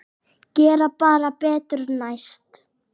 Gera bara betur næst.